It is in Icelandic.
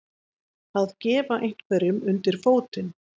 Að gefa einhverjum undir fótinn